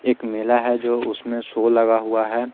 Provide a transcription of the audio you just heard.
एक मेला है जो उसमें सो लगा हुआ है।